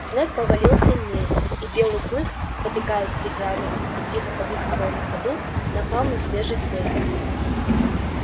снег повалил сильнее и белый клык спотыкаясь прихрамывая и тихо повизгивая на ходу напал на свежий след